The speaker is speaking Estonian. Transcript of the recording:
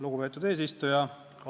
Lugupeetud eesistuja!